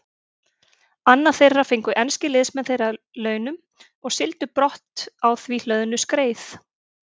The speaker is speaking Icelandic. Annað þeirra fengu enskir liðsmenn þeirra að launum og sigldu brott á því hlöðnu skreið.